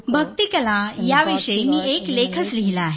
भक्ती कला याविषयी मी एक लेखच लिहिला आहे